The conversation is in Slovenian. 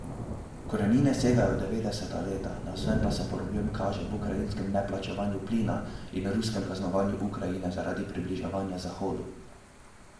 Korenine spora segajo v devetdeseta leta, navzven pa se problem kaže v ukrajinskem neplačevanju plina in ruskem kaznovanju Ukrajine zaradi približevanja zahodu.